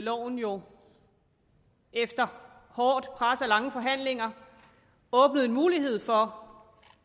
loven jo efter hårdt pres og lange forhandlinger åbnede en mulighed for